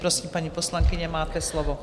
Prosím, paní poslankyně, máte slovo.